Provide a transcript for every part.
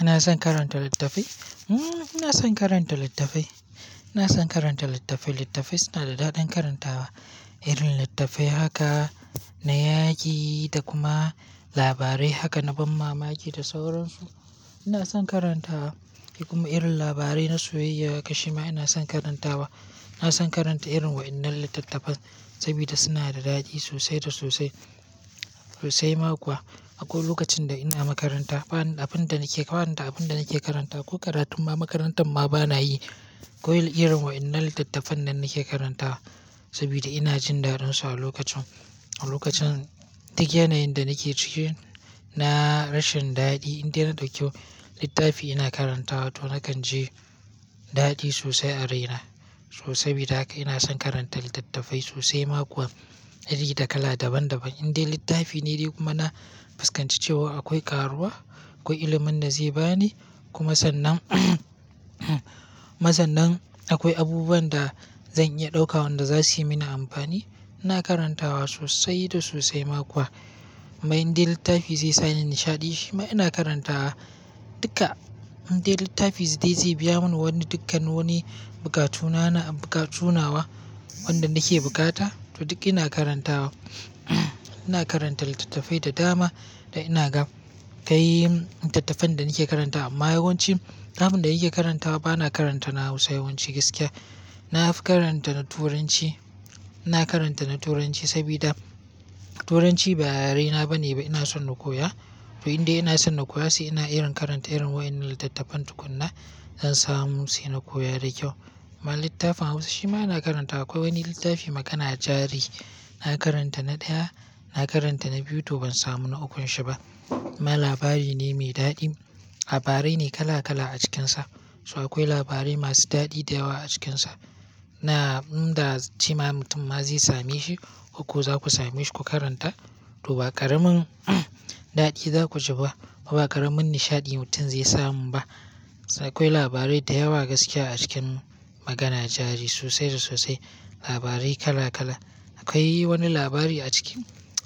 Ina son karanta littattafai? Hmm, ina son karanta littattafai. Ina son karanta littattafai. Littattafai suna da daɗin karantawa. Irin littattafai haka na yaƙi da kuma labarai na ban mamaki da sauransu. Ina son karantawa. Kuma irin labarai na soyayya, shima ina son karantawa. Ina son karanta irin waɗannan littattafan saboda suna da dadi sosai da sosai. Sosai ma kuwa. Akwai lokacin da ina makaranta, ba'nin abin da nake, ba'nin da abin da nake karanta, ko karatun ma makarantar ma bana yi, kawai irin wa'innal littattafan nan nake karantawa saboda ina jin dadinsa a lokacin, a lokacin duk yanayin da nake ciki, na rashin daɗi. In dai yana da kyau littafi ina karantawa to nakan ji daɗi sosai a raina. So saboda haka ina son karanta littattafai sosai ma kuwa iri da kala daban daban. In dai littafi ne dai kuma na fuskanci cewa akwai karuwa, akwai ilimin da zai bani kuma sannan, mazannan akwai abubuwan da zan iya ɗauka wanda za suyi mini amfani, ina karantawa sosai da sosai ma kuwa. Mai in dai littafi zai sani nishaɗi, shima ina karantawa duka. In dai littafi zai, zai biya mini wani dukkan wani bukatu nawa, bukatu nawa wanda nake bukata, to duk ina karantawa. Ina karanta littattafai da dama da ina ga. Kai littattafan da nake karantawa amma yawanci abin da yake karantawa bana karanta na Hausa yawanci gaskiya. Na karanta na Turanci, ina karanta na Turanci saboda Turanci ba yarena bane ba ina son na koya. To in dai ina son na koya sai ina irin karanta irin wa'innal littattafan tukuna in samu sai na koya da kyau. amMa littafin Hausa shima ina karanta akwai wani littafi Magana Jari na karanta na ɗaya, na karanta na biyu to ban samu na ukun shi ba. amMa labari ne mai daɗi, labarai ne kala kala a cikinsa. So akwai labarai masu daɗi da yawa a cikinsa. Na, in da cima mutum ma zai same shi, koko za ku same shi ku karanta to ba ƙaramin daɗi za ku ji ba, kuma ba ƙaramin nishaɗi mutum zai samu ba. Akwai labarai da yawa gaskiya a cikin Magana Jari sosai da sosai, labarai kala kala. Akwai wani labari a ciki,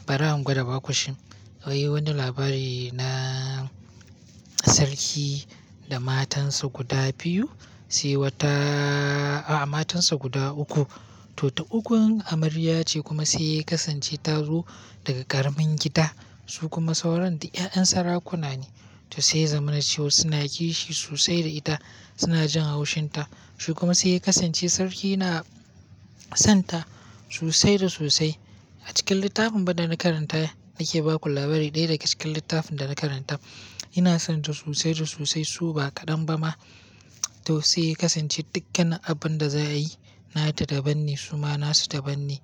bari in gwada ba ku shin. Akwai wani labari na sarki da matansa guda biyu, sai wata a, a matansa guda uku. To ta ukun amarya ce kuma sai ya kasance ta zo daga ƙaramin gida su kuma sauran da 'ya'yan sarakuna ne. To sai yazamanacewa suna kishi sosai da ita, suna jin haushinta. Shi kuma sai ya kasance sarki na sonta sosai da sosai. A cikin littafin fa da na karanta nake baku labari ɗaya daga cikin littafin da na karanta. Ina son ta sosai da sosai su ba ƙadan ba ma. To sai ya kasance dukkan abin da za a yi, nata daban ne su ma nasu daban ne.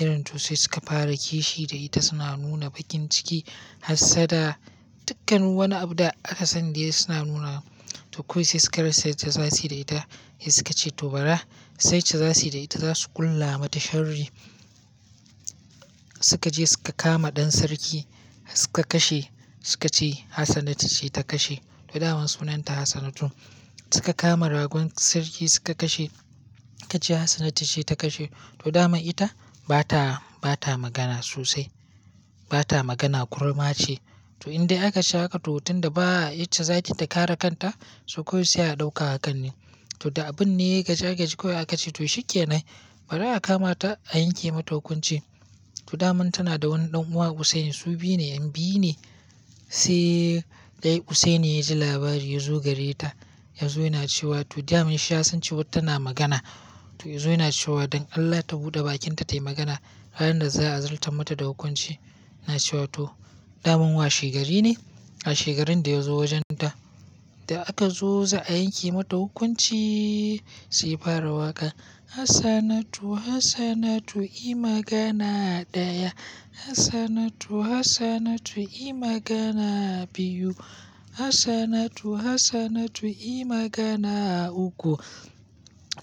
Irin to sai suka fara kishi da ita suna nuna bakin ciki har sada dukkan wani abu da aka sani dai suna nuna. To kawai sai suka rasa yadda zasu yi da ita, sai suka ce to bara, sait da za su yi da ita za su ƙulla mata sharri. Suka je suka kama ɗan sarki suka kashe, suka ce Hassanatu ce ta kashe to dama sunanta Hassanatu. Suka kama ragon sarki suka kashe, suka ce Hassanatu ce ta kashe. To dama ita ba ta, ba ta magana sosai. Ba ta magana kurma ce. To in dai akace haƙa to mutum da ba a yi ce zakin ta kare kanta, to kawai sai a ɗauka a kan ni. To da abun ne ya gaji ya gaji kawai aka ce to shi ke nai, bari a kama ta a yanke mata hukunci. To daman tana da wani ɗan uwa Hussein su biyu ne, 'yan biyu ne. Sai dai Hussein ne ya ji labari ya zo gare ta, ya zo yana cewa to daman shi ya san cewa tana magana. To ya zo yana cewa don Allah ta buɗe bakinta ta yi magana kafin da za a zarta mata da hukunci. Yana cewa to daman wa shegari ne, a shegarin da ya zo wajen ta. Da aka zo za a yanke mata hukunci sai yafara waƙa, "Hassanatu, Hassanatu yi magana a ɗaya. Hassanatu, Hassanatu yi magana a biyu. Hassanatu, Hassanatu yi magana a uku."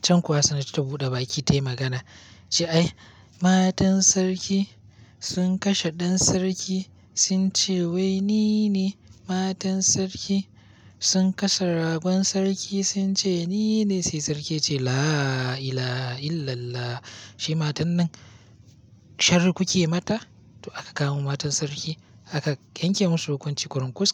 Can kuwa Hassanatu ta buɗe baki ta yi magana, ta ce "Ai, matan sarki sun kashe ɗan sarki sun ce wai ni ne. Matan sarki sun kashe ragon sarki sun ce ni ne." Sai sarki ya ce "La ila illallah." Shi matan nan sharri kuke mata? To aka kawo matan sarki aka yanke musu hukunci kurunkus.